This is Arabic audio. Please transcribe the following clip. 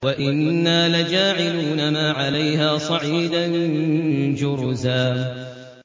وَإِنَّا لَجَاعِلُونَ مَا عَلَيْهَا صَعِيدًا جُرُزًا